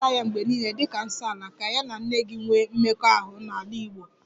A ga-ahụta ya mgbe niile dịka 'nsoala' ka ya na nne gị nwee mmekọahụ n'ala Igbo